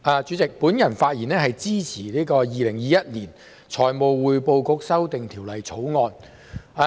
我發言支持《2021年財務匯報局條例草案》。